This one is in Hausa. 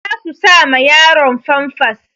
Za su sa ma yaron famfas.